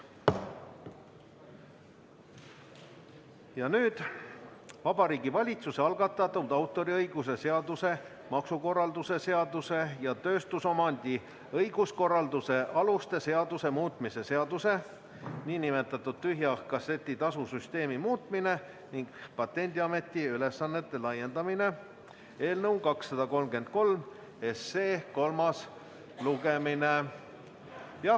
Ja nüüd Vabariigi Valitsuse algatatud autoriõiguse seaduse, maksukorralduse seaduse ja tööstusomandi õiguskorralduse aluste seaduse muutmise seaduse eelnõu 233 kolmas lugemine.